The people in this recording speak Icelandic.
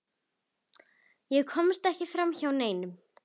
Ég komst ekki framhjá neinum.